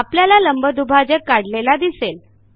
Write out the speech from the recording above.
आपल्याला लंबदुभाजक काढलेला दिसेल